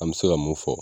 An bɛ se ka mun fɔ